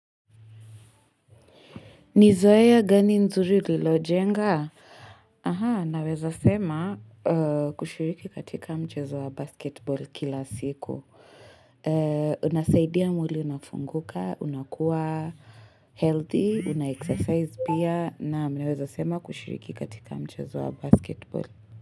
Nizoea gani nzuri ulilojenga? Aha, naweza sema kushiriki katika mchezo wa basketball kila siku. Unasaidia mwili unafunguka, unakuwa healthy, una exercise pia, na naweza sema kushiriki katika mchezo wa basketball.